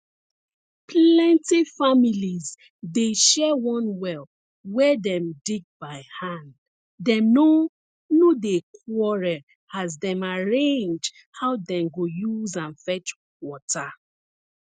plenty families dey share one well wey dem dig by hand dem no no dey quarrel as dem arrange how dem go use am fetch water